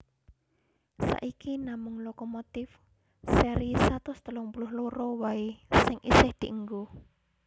Saiki namung lokomotif séri satus telung puluh loro waé sing isih dienggo